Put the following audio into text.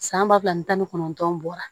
San ba fila ni tan ni kɔnɔntɔn bɔra